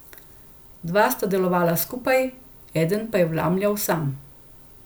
Dva sta delovala skupaj, eden pa je vlamljal sam.